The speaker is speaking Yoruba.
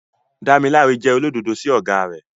Damilare jẹ́ olódodo sí ọ̀gá rẹ̀.